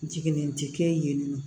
Jiginnen tɛ kɛ yen nɔ